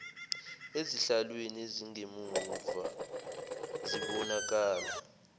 ezihlalweni ezingemumva zibonakala